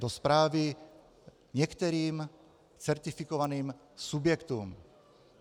Do správy některým certifikovaným subjektům.